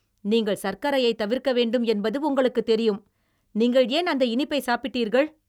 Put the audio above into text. நீங்கள் சர்க்கரையைத் தவிர்க்க வேண்டும் என்பது உங்களுக்குத் தெரியும், நீங்கள் ஏன் அந்த இனிப்பைச் சாப்பிட்டீர்கள்?